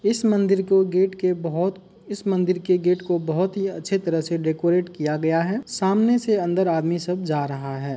इस मंदिर को गेट के बहोत इस मंदिर के गेट बहोत ही अच्छे तरह से डेकोरेट किया गया हैसामने से अन्दर आदमी सब जा रहा है।